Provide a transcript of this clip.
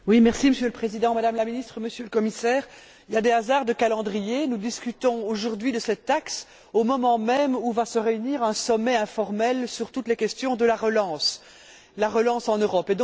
Monsieur le Président, Madame la Ministre, Monsieur le Commissaire, il y a des hasards de calendrier nous discutons aujourd'hui de cette taxe, au moment même où va se dérouler un sommet informel sur toutes les questions liées à la relance en Europe.